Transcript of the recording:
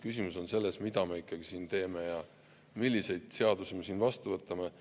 Küsimus on selles, mida me ikkagi siin teeme ja milliseid seadusi me vastu võtame.